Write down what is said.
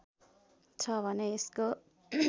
छ भने यसको